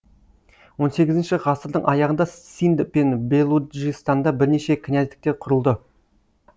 он сегізінші ғасырдың аяғында синд пен белуджистанда бірнеше князьдіктер құрылды